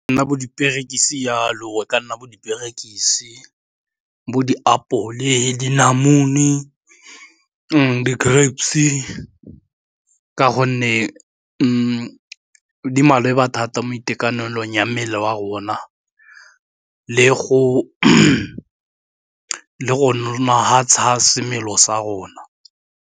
Nna bo diperekisi jalo, e ka nna bo diperekisi, bo diapole le dinamune, di-grapes, e ka gonne mme di maleba thata mo itekanelong ya mmele wa rona le go nna ga semelo sa rona.